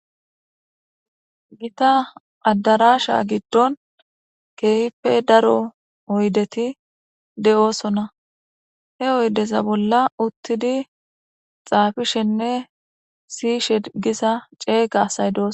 Hega adarasha gidon keehipe daro oydeti de'osona he oydeza bolla uthidi xaafishene siyishe diza ceega asay de'osona.